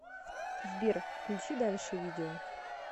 сбер включи дальше видео